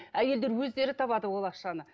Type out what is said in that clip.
әйелдер өздері табады ол ақшаны